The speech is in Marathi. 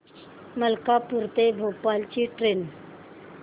मलकापूर ते भोपाळ ची ट्रेन